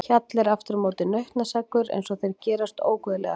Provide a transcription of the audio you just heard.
Hjalli er aftur á móti nautnaseggur eins og þeir gerast óguðlegastir.